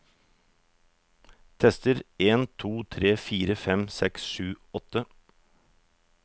Tester en to tre fire fem seks sju åtte